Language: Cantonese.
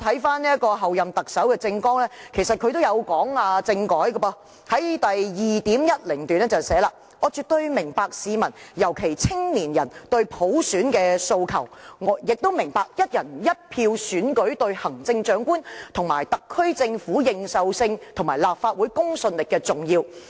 翻看候任特首的政綱，其實她亦有提及政改，在第 2.10 段中提出："我絕對明白市民，尤其是青年人，對普選的訴求，也明白'一人一票'選舉對行政長官及特區政府認受性和立法會公信力的重要。